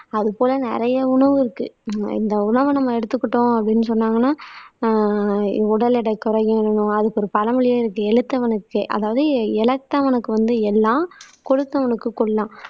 அது போல நிறைய உணவு இருக்கு இந்த உணவை நம்ம எடுத்துக்கிட்டோம் அப்படின்னு சொன்னாங்கன்னா ஆஹ் உடல் எடை குறையும் அதுக்கு ஒரு பழமொழியே இருக்கு எழுத்தவனுக்கு அதாவது இழத்தவனுக்கு வந்து எள்ளாம் கொடுத்தவனுக்கு கொல்லம்